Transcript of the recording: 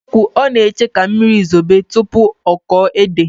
Na ezikowu, ona enye ka mmiri zobe tupu oko ede.